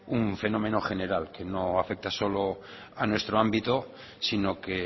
un fenómeno general que no afecta solo a nuestro ámbito sino que